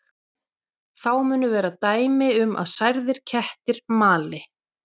Þá munu vera dæmi um að særðir kettir mali.